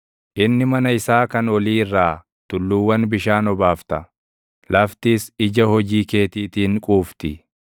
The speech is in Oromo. Inni mana isaa kan olii irraa tulluuwwan bishaan obaafta; laftis ija hojii keetiitiin quufti.